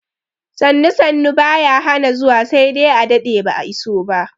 Sannu sannu baya hana zuwa sai dai a daɗe ba'a iso ba